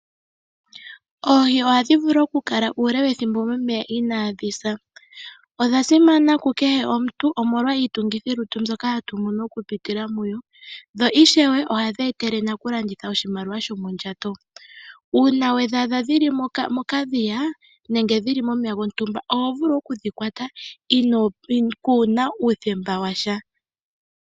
Oohi ohadhi vulu okukala uule wethimbo ele momeya inaadhi sa. Odha simana kukehe omuntu, omolwa iitungithilutu mbyoka hatu mono okuza kudho. Na ishewe ohadhi etele omulandithi oshimaliwa sho mondjato. Uuna wa adha dhili medhiya, nenge dhili momeya gontumba, oho vulu okudhikwata kuna uuthemba washa.